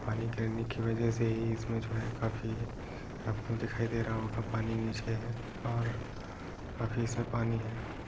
पानी गिरने की वजह से ही इस मेज में काफी आपको दिखाई दे रहा होगा पानी नीचे है और काफी इसमें पानी है।